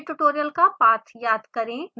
पिछले ट्यूटोरियल का पाथ याद करें